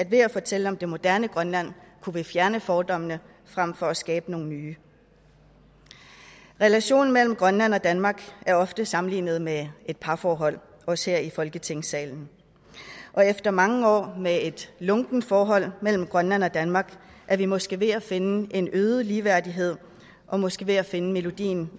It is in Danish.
ved at fortælle om det moderne grønland kunne fjerne fordommene frem for at skabe nogle nye relationen mellem grønland og danmark er ofte sammenlignet med et parforhold også her i folketingssalen og efter mange år med et lunkent forhold mellem grønland og danmark er vi måske ved at finde en øget ligeværdighed og måske ved at finde melodien